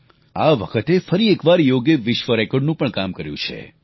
આ વખતે ફરી એકવાર યોગે વિશ્વ રેકોર્ડનું પણ કામ કર્યું છે